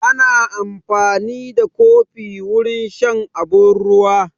Ana amfani da kofi wurin shan abun ruwa